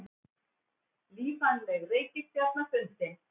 Lífvænleg reikistjarna fundin